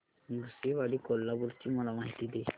नृसिंहवाडी कोल्हापूर ची मला माहिती दे